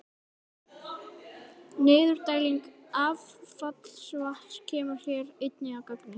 Niðurdæling affallsvatns kemur hér einnig að gagni.